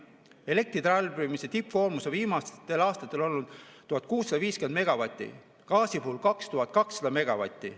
Elektritarbimise tippkoormus on viimastel aastatel olnud 1650 megavatti, gaasi puhul 2200 megavatti.